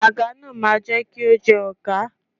Àga náà máa jẹ́ kí o jọ ọọ̀gá.